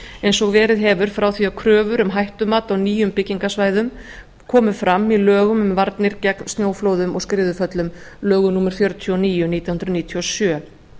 eins og verið hefur frá því kröfur um hættumat á nýjum byggingasvæðum komu fram í lögum um varnir gegn snjóflóðum og skriðuföllum lögum númer fjörutíu og níu nítján hundruð níutíu og sjö